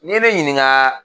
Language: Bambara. Ni ye ne ɲininkaaa.